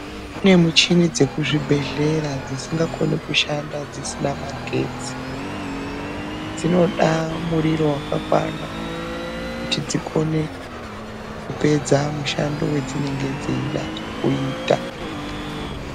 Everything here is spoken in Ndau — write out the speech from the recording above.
Kune michini dzekuzvibhedhlera dzisinga koni kushanda dzisina magetsi. Dzinoda muriro wakakwana kuti dzikone kupedza mushando wadzinenge dzeida kuita.